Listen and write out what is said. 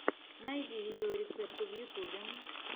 найди видеорецепты в ютьюбе